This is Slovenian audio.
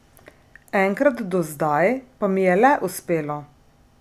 Enkrat do zdaj pa mi je le uspelo!